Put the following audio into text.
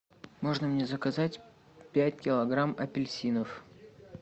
можно мне заказать пять килограмм апельсинов